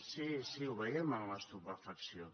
sí sí ho veiem amb estupefacció